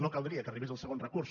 no caldria que arribés el segon recurs